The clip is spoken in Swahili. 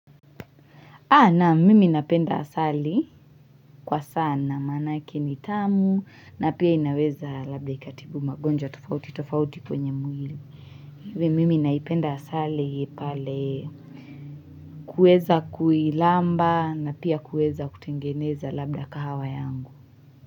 Naam mimi napenda asali kwa sana manake ni tamu na pia inaweza labda ikatibu magonjwa tofauti tofauti kwenye mwili. Iwe mimi naipenda asali pale kuweza kuilamba na pia kueza kutengeneza labda kahawa yangu.